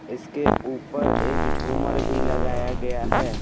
इसके ऊपर एक झूमर भी लगाया गया है ।